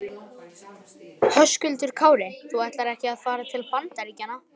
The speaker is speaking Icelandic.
Höskuldur Kári: Þú ætlar ekki að fara til Bandaríkjanna?